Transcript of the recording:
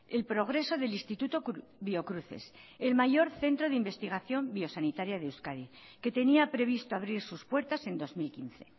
el progreso del instituto biocruces el mayor centro de investigación biosanitaria de euskadi que tenía previsto abrir sus puertas en dos mil quince